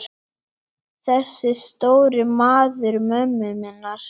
Þessi stóri maður mömmu minnar.